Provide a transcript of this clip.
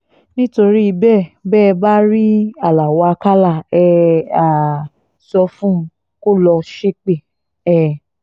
nítorí bẹ́ẹ̀ bẹ́ ẹ bá rí aláo àkàlà ẹ̀ um sọ fún un kó lọ́ọ́ ṣépè um